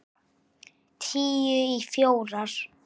Tíu í fjórar.